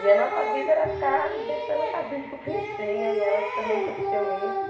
E a nossa vida era ficar deixando a casinha bonitinha e elas também curtiam isso.